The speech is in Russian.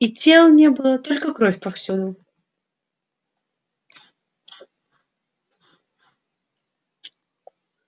и тел не было только кровь повсюду